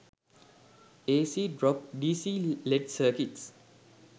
ac drop dc led circuits